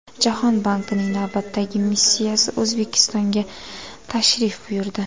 Jahon bankining navbatdagi missiyasi O‘zbekistonga tashrif buyurdi.